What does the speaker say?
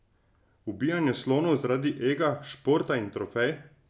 Ubijanje slonov zaradi ega, športa in trofej?